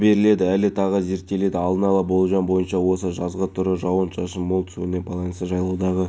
әр оқушы үшін ерекше маңызға ие сондықтан біздің қызметкерлер бұл шараға үн қосып қайырымдылық акциясына